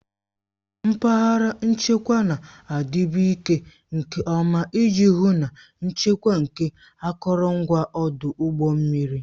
Mpaghara nchekwa na-adịbu ike nke ọma iji hụ na nchekwa nke akụrụngwa ọdụ ụgbọ mmiri